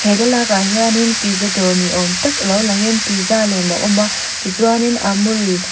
he thlalakah hian pizza dawr ni awm tak lo langin pizza lem a lo awm a tichuanin amul .